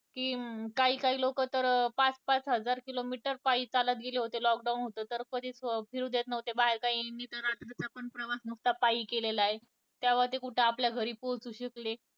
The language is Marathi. कि काही काही लोक तर पाच पाच हजार किलोमीटर पायी चालत गेले होते lock down होतं तर कधीच फिरू देत नव्हते बाहेर मी तर रात्री चा हि प्रवास पायी केलेला ये त्या वर कुठे आपल्या घरी पोहचु शकले